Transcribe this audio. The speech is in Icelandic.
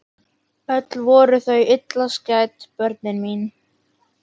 Öll voru þau illa skædd börnin mín.